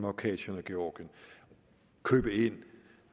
abkhasien og georgien købe ind